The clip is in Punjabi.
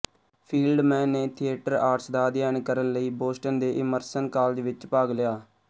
ਫੀਲਡਮੈਨ ਨੇ ਥੀਏਟਰ ਆਰਟਸ ਦਾ ਅਧਿਐਨ ਕਰਨ ਲਈ ਬੋਸਟਨ ਦੇ ਇਮਰਸਨ ਕਾਲਜ ਵਿਚ ਭਾਗ ਲਿਆ